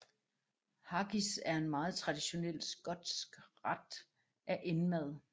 Haggis er en meget traditionel skotsk ret af indmad